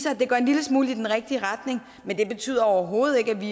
at det går en lille smule i den rigtige retning men det betyder overhovedet ikke at vi